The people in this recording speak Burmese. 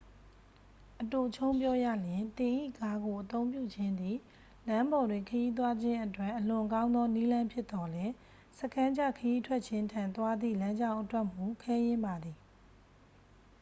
"အတိုချုံးပြောရလျှင် သင်၏ကားကိုအသုံးပြုခြင်းသည် လမ်းပေါ်တွင်ခရီးသွားခြင်းအတွက် အလွန်ကောင်းသော နည်းလမ်းဖြစ်သော်လည်း "စခန်းချခရီးထွက်ခြင်း" ထံသွားသည့် လမ်းကြောင်းအတွက်မူ ခဲယဉ်းပါသည်။